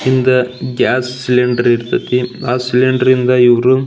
ಹಿಂದೆ gas cylinder ಇರತೈತಿ ಆ ಸಿಲಿಂಡರ್ ಇಂದ ಇವ್ರು --